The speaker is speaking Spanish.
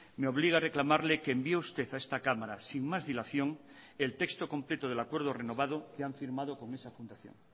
me obliga a reclamarle que envió usted a esta cámara sin más dilación el texto completo del acuerdo renovado que han firmado con esa fundación